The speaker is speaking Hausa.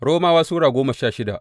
Romawa Sura goma sha shida